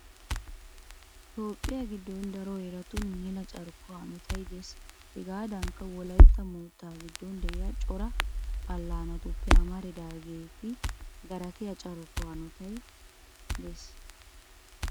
Toophphiya giddon daro heeratun mela carkkuwa hanotay de'ees. Hegaadankka wolaytta moottaa giddon de'iya cora allaanatuppe amaridaageeti garatiya carkkuwa hanotaara de'oosona.